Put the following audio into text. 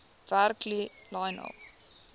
werk lionel